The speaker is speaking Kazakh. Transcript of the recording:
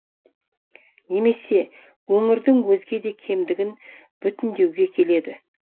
немесе өңірдің өзге де кемдігін бүтіндеуге келеді